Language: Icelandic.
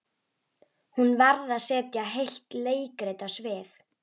Hún varð að setja heilt leikrit á svið.